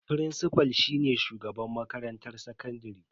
Firincifal shine shugaban makarantar sakandare.